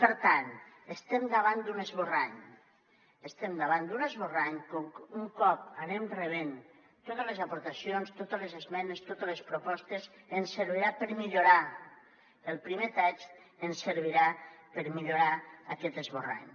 per tant estem davant d’un esborrany estem davant d’un esborrany que un cop que anem rebent totes les aportacions totes les esmenes totes les propostes ens servirà per millorar el primer text ens servirà per millorar aquest esborrany